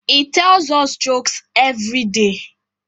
he tells us jokes everyday